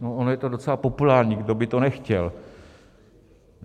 No ono je to docela populární, kdo by to nechtěl.